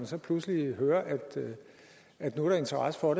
så pludselig hører at der nu er interesse for